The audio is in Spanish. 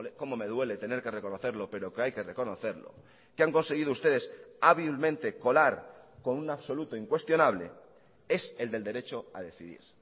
cómo me duele tener que reconocerlo pero que hay que reconocerlo que han conseguido ustedes hábilmente colar con un absoluta incuestionable es el del derecho a decidir